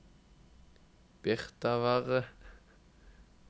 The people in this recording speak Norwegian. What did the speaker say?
Birtavarre